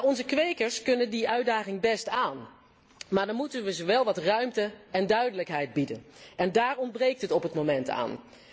Onze kwekers kunnen die uitdaging best aan, maar dan moeten we ze wel wat ruimte en duidelijkheid bieden en daar ontbreekt het op dit moment aan.